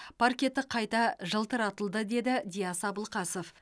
паркеті қайта жылтыратылды деді диас абылқасов